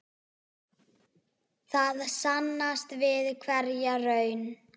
Það sannast við hverja raun.